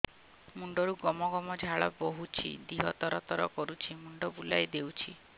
ମୁଣ୍ଡରୁ ଗମ ଗମ ଝାଳ ବହୁଛି ଦିହ ତର ତର କରୁଛି ମୁଣ୍ଡ ବୁଲାଇ ଦେଉଛି